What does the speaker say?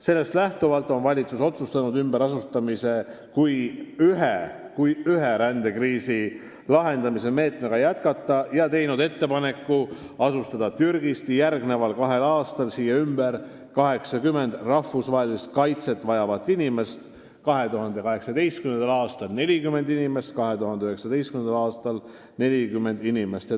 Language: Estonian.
Sellest lähtuvalt on valitsus otsustanud ümberasustamise kui rändekriisi lahendamise ühe meetmega jätkata ja teinud ettepaneku asustada Türgist järgmisel kahel aastal siia ümber 80 rahvusvahelist kaitset vajavat inimest: 2018. aastal 40 inimest ja 2019. aastal 40 inimest.